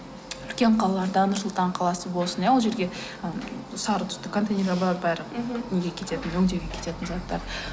үлкен қалаларда нұр сұлтан қаласы болсын иә ол жерге сары түсті контейнерлер бар бәрі неге кететін өңдеуге кететін заттар